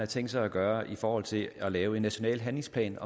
tænkt sig at gøre i forhold til at lave en national handlingsplan